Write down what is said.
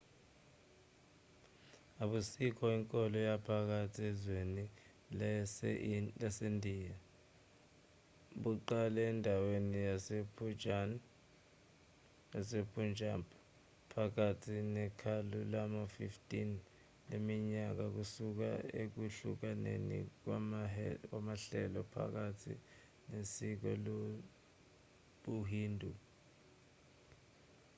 ubusikh inkolo yaphakathi ezwekazini lasendiya buqale endaweni yasepunjab phakathi nekhulu lama-15 leminyaka kusuka ekuhlukaneni kwamahlelo phakathi nesiko lobuhindu